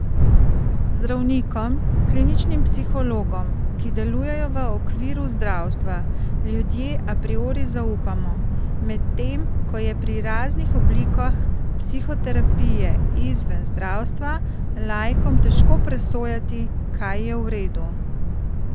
Zdravnikom, kliničnim psihologom, ki delujejo v okviru zdravstva, ljudje a priori zaupamo, medtem ko je pri raznih oblikah psihoterapije izven zdravstva laikom težko presojati, kaj je v redu.